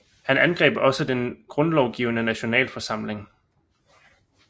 Han angreb også den grundlovgivende Nationalforsamling